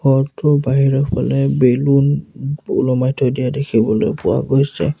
ঘৰটোৰ বাহিৰৰ ফালে বেলুন ওলমাই থৈ দিয়া দেখিবলৈ পোৱা গৈছে।